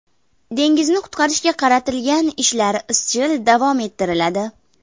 Dengizni qutqarishga qaratilgan ishlar izchil davom ettiriladi.